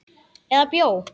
Eða bjó.